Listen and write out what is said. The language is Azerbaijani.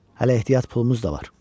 Hələ ehtiyat pulumuz da var.